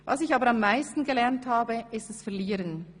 Was ich aber am meisten gelernt habe ist das Verlieren.